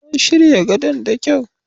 An shirya gadon da kyau.